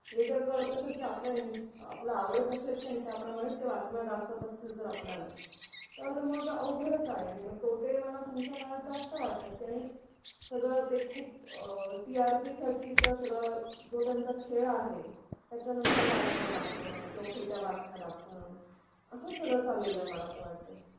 हे जर कळत असेल की आपल आवड कशाची आणि त्या प्रमाणेच त्या बातम्या दाखवत असतील जर आपल्याला तर मग अवघडच आहे. हे मग तोटे मला तुमच्या काळत जास्त वाटतात आणि सगळा ते